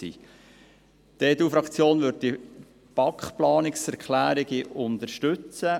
Die EDU-Fraktion wird die Planungserklärungen der BaK unterstützen.